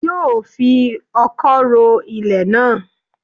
Yóò fi ọkọ́ ro ilẹ̀ náà